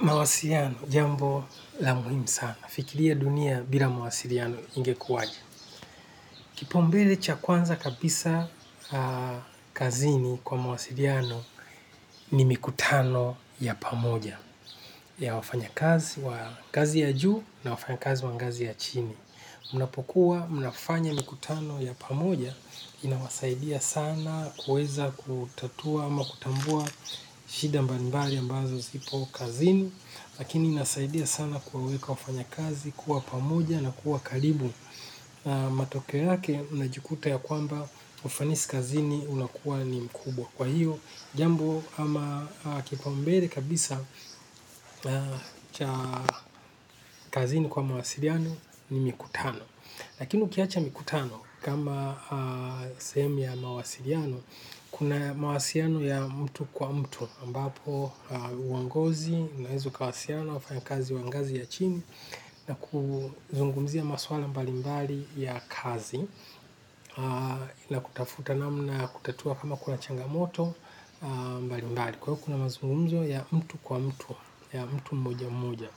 Mawasiliano jambo la muhimu sana. Fikiria dunia bila mawasiliano ingekuwaje. Kipao mbele cha kwanza kabisa kazini kwa mawasiliano ni mikutano ya pamoja ya wafanya kazi wa kazi ya juu na wafanya kazi wa ngazi ya chini. Unapokuwa mnafanya mikutano ya pamoja inawasaidia sana kueza kutatua ama kutambua shida mbali mbali ambazo zipo kazini. Lakini inasaidia sana kuwaweka wafanya kazi kuwa pamoja na kuwa karibu. Matokeo yake unajikuta ya kwamba ufanisi kazini unakuwa ni mkubwa kwa hiyo. Jambo ama kipao mbele kabisa cha kazini kwa mawasiliano ni mikutano. Lakini ukiacha mikutano kama sehemu ya mawasiliano, kuna mawasiliano ya mtu kwa mtu, ambapo uongozi, naeza ukawasiliana na wafanya kazi wa ngazi ya chini, na kuzungumzia maswala mbali mbali ya kazi, na kutafuta namna ya kutatua kama kuna changamoto mbali mbali, kwa kuna mazungumzo ya mtu kwa mtu, ya mtu mmoja mmoja.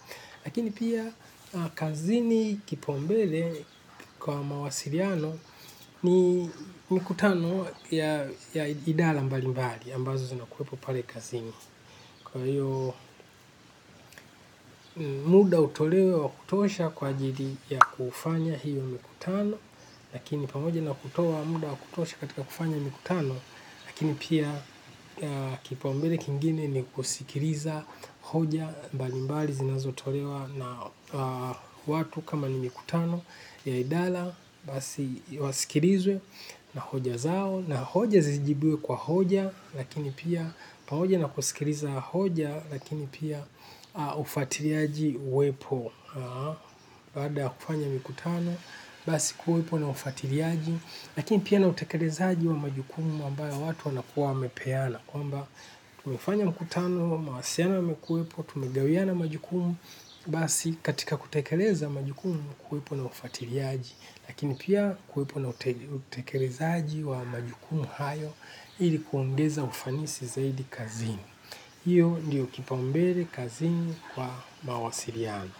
Lakini pia kazini kipao mbele kwa mawasiliano ni mikutano ya idhara mbali mbali ambazo zinakuepo pale kazini. Kwa hiyo muda utolewe wa kutosha kwa ajili ya kufanya hiyo mikutano lakini pamoja na kutoa muda wa kutosha katika kufanya mikutano. Lakini pia kipaumbele kingine ni kusikiliza hoja mbalimbali zinazotolewa na watu kama ni mikutano ya idala basi wasikilizwe na hoja zao na hoja zijibiwe kwa hoja. Lakini pia pamoja na kusikiliza hoja lakini pia ufatiliaji uwepo. Baada ya kufanya mikutano, basi kuwepo na ufatiliaji. Lakini pia nautekelezaaji wa majukumu ambayo watu wanakuwa wamepeana. Kwamba tumefanya mkutano, mawasiliano yamekuwepo, tumegawiana majukumu. Basi katika kutekeleza majukumu kuwepo na ufatiliaji. Lakini pia kuwepo na utekelezaji wa majukumu hayo ili kuongeza ufanisi zaidi kazini. Hiyo ndiyo kipambele kazini kwa mawasiliano.